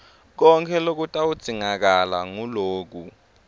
konkhe lokutawudzingakala nguloku